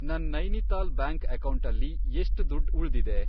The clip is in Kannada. ನನ್ ನೈನಿತಾಲ್ ಬ್ಯಾಂಕ್ ಅಕೌಂಟಲ್ಲಿ ಎಷ್ಟ್ ದುಡ್ಡ್ ಉಳ್ದಿದೆ?